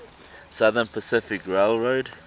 southern pacific railroad